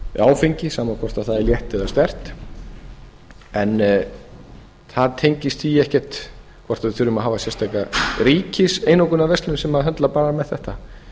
áfengi sama hvort það er létt eða sterkt en það tengist því ekkert hvort við þurfum að hafa sérstaka ríkiseinokunarverslun sem höndlar bara með þetta